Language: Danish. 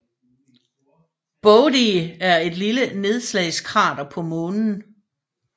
Bode er et lille nedslagskrater på Månen